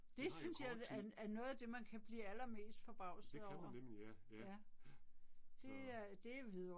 De har jo kort tid. Det kan man nemlig, ja ja. Ja. Så